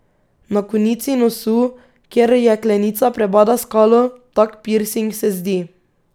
Na konici nosu, kjer jeklenica prebada skalo, tak pirsing se zdi.